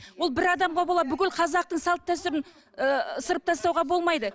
ол бір адамға бола бүкіл қазақтың салт дәстүрін ы ысырып тастауға болмайды